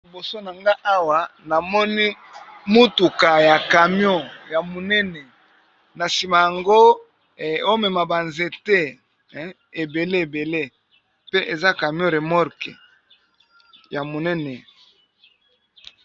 Aliboso na nga awa namoni mutuka ya camion ya monene na nsima yango omema banzete ebele ebele pe eza camion remorke ya monene